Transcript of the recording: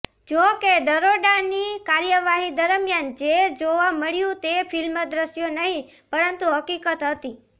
જો કે દરોડાની કાર્યવાહી દરમિયાન જે જોવા મળ્યું તે ફિલ્મી દ્રશ્યો નહિ પરંતુ હકિકત હતી